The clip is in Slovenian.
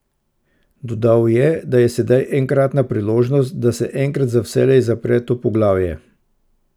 Dodal je, da je sedaj enkratna priložnost, da se enkrat za vselej zapre to poglavje.